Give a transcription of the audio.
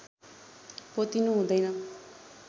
पोतिनु हुँदैन